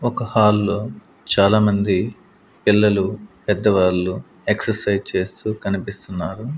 ఒక హాల్ లో చాలామంది పిల్లలు పెద్దవాళ్లు ఎక్సర్సైజ్ చేస్తూ కనిపిస్తున్నారు.